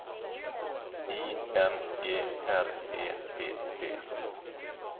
I N G R E P P